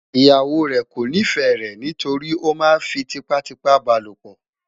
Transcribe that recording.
ìyàwó rè kò nifẹ rè ní torí oma fí tipa tipa balopo